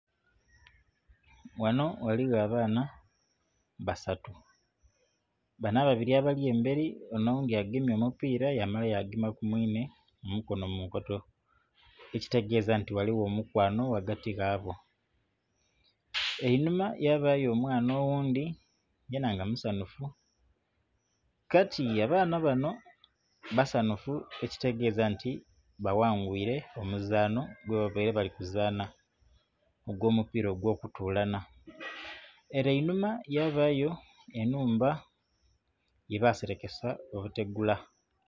Ghanho ghaligho abaana basatu. Banho ababili abali embeli onho oghundhi agemye omupiira yamala yagema ku mwinhe omukono mu nkoto, ekitegeeza nti ghaligho omukwano ghagati ghabo. Einhuma yabayo omwana oghundhi yenha nga musanhufu. Kati abaana banho basanhufu ekitegeeza nti baghangwile omuzaanho gwe babaire bali kuzaanha ogw'omupiira ogw'okutulanha. Ele einhuma yabayo enhumba gye baselekesa obutegula.